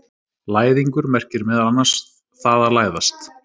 læðingur merkir meðal annars „það að læðast“